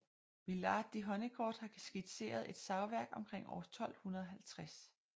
Villard de Honnecourt har skitseret et savværk omkring år 1250